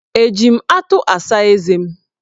Eji m atụ asa eze m?